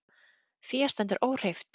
Fé stendur óhreyft